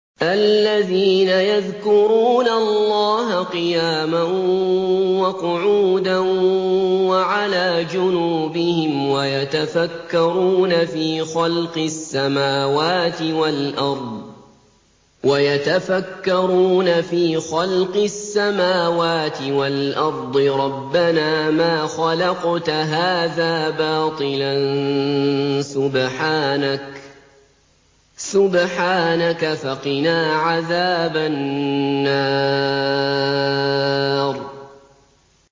الَّذِينَ يَذْكُرُونَ اللَّهَ قِيَامًا وَقُعُودًا وَعَلَىٰ جُنُوبِهِمْ وَيَتَفَكَّرُونَ فِي خَلْقِ السَّمَاوَاتِ وَالْأَرْضِ رَبَّنَا مَا خَلَقْتَ هَٰذَا بَاطِلًا سُبْحَانَكَ فَقِنَا عَذَابَ النَّارِ